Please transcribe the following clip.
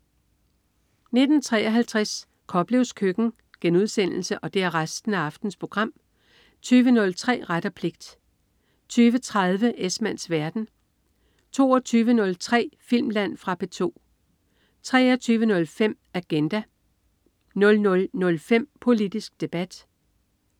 19.53 Koplevs Køkken* 20.03 Ret og pligt* 20.30 Esmanns verden* 22.03 Filmland. Fra P2 23.05 Agenda* 00.05 Politisk Debat*